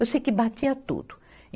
Eu sei que batia tudo.